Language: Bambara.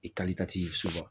soba